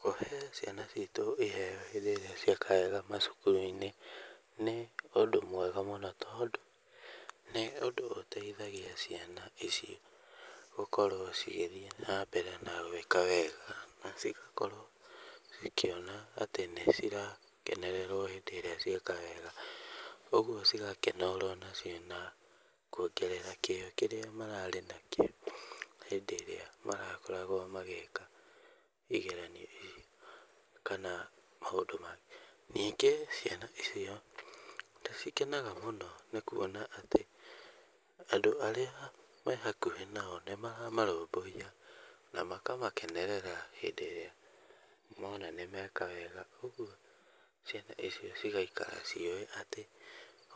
Kũhe ciana citũ iheyo rĩrĩa cieka wega macukuru-inĩ nĩ ũndũ mwega mũno tondũ, nĩ ũndũ ũteithagia ciana icio gũkorwo cigĩthiĩ na mbere na gũĩka wega, na cigakorwo cikĩona atĩ nĩ cirakenererwo hĩndĩ ĩrĩa cieka wega, ũguo cigakĩnorwo nacio na kuongerera kĩyo kĩrĩa mararĩ nakĩo, hĩndĩ ĩrĩa marakoragwo magĩka igeranio ici, kana maũndũ maya, ningĩ ciana icio nĩ cikenaga mũno nĩ kuona atĩ, andũ arĩa mehakuhĩ nao nĩ maramarũbũyia na makamakenerera hĩndĩ ĩrĩa mona nĩ meka wega, ũguo ciana icio cigaikara ciũĩ atĩ,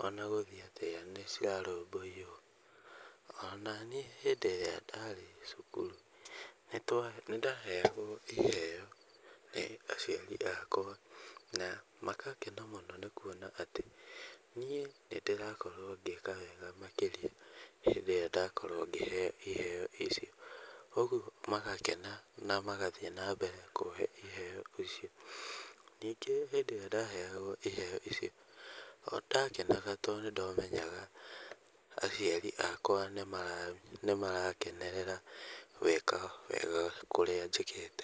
ona gũthiĩ atĩa nĩ cirarũbũyio, onaniĩ hĩndĩ ĩrĩa ndarĩ cukuru, nĩ twa, nĩ ndaheyagwo iheyo nĩ aciari akwa na magakena mũno nĩ kuona atĩ niĩ nĩ ndĩrakorwo ngĩka wega makĩria, hĩndĩ ĩrĩa ndakorwo ngĩheyo iheyo icio, ũguo magakena na magathiĩ nambere kũhe iheyo icio, ningĩ hĩndĩ ĩrĩa ndaheyagwo iheyo icio, o nĩ ndakenaga to nĩ ndamenyaga aciari akwa nĩ mara nĩ marakenerera gwĩka wega kũrĩa njĩkĩte.